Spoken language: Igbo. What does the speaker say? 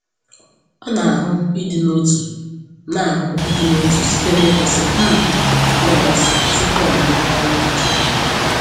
O na-ahụ ịdị n’otu na-ahụ ịdị n’otu site n’ịkwụsị um n’ụlọ nsọ tupu o malite ọrụ ụbọchị ya.